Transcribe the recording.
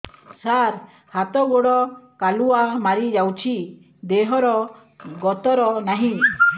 ସାର ହାତ ଗୋଡ଼ କାଲୁଆ ମାରି ଯାଉଛି ଦେହର ଗତର ନାହିଁ